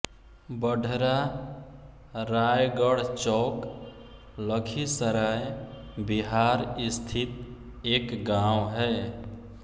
बढरा रायगढचौक लखीसराय बिहार स्थित एक गाँव है